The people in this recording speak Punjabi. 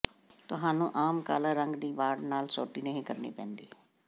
ਤੁਹਾਨੂੰ ਆਮ ਕਾਲਾ ਰੰਗ ਦੀ ਵਾੜ ਨਾਲ ਸੋਟੀ ਨਹੀਂ ਕਰਨੀ ਪੈਂਦੀ